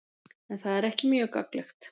En það er ekki mjög gagnlegt.